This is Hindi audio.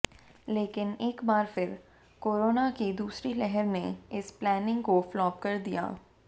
लेकिन एक बार फिर कोरोना की दूसरी लहर ने इस प्लानिंग को फ्लॉप कर दिया